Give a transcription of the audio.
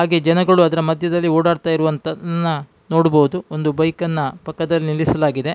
ಹಾಗೆ ಜನಗಳು ಅದರ ಮದ್ಯದಲ್ಲಿ ಓಡಾಡ್ತಾ ಇರುವುದನ್ನು ನೋಡಬಹುದು ಒಂದು ಬೈಕ್ ಅನ್ನು ಪಕ್ಕದಲ್ಲಿ ನಿಲ್ಲಿಸಲಾಗಿದೆ.